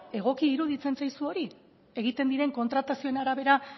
egokia iruditzen zaizu hori egiten diren kontratazioen arabera